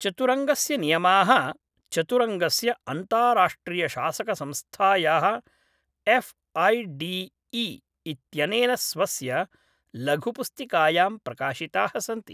चतुरङ्गस्य नियमाः चतुरङ्गस्य अन्ताराष्ट्रियशासकसंस्थायाः एफ् ऐ डि इ इत्यनेन स्वस्य लघुपुस्तिकायां प्रकाशिताः सन्ति।